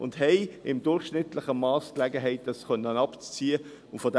sie haben im durchschnittlichen Mass Gelegenheit, dies abziehen zu können.